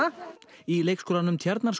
í leikskólanum